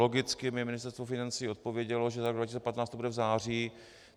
Logicky mi Ministerstvo financí odpovědělo, že za rok 2015 to bude v září.